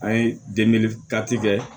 An ye kɛ